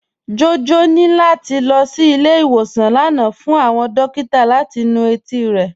Jọjọ ni lati lọ sí ilẹ̀-ìwọsàn lánà fún awọn dòkìtà láti nú etí rẹ.